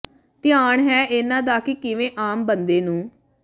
ਧਿਆਨ ਹੈ ਇਨ੍ਹਾਂ ਦਾ ਕੀ ਕਿਵੇਂ ਆਮ ਬੰਦੇ ਨੂੰ